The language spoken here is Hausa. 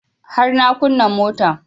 Har na kunna motan